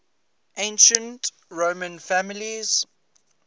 ancient roman families